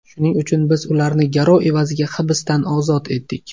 Shuning uchun biz ularni garov evaziga hibsdan ozod etdik.